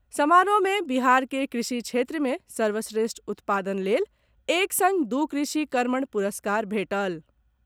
समारोह मे बिहार के कृषि क्षेत्र मे सर्वश्रेष्ठ उत्पादन लेल एक संग दू कृषि कर्मण पुरस्कार भेटल।